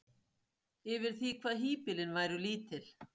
yfir því hvað híbýlin væru lítil.